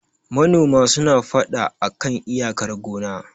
manona suna fada a kan iyakar gonna